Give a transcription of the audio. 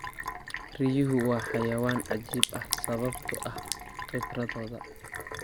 Riyahu waa xayawaan cajiib ah sababtoo ah khibradooda.